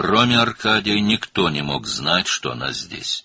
Arkadidən başqa heç kim onun burada olduğunu bilə bilməzdi.